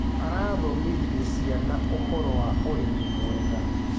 Arathomithirie ciana ũhoro ũkonie urĩmi mwega.